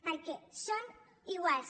perquè són iguals